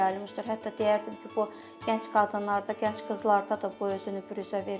Hətta deyərdim ki, bu gənc qadınlarda, gənc qızlarda da bu özünü büruzə verir.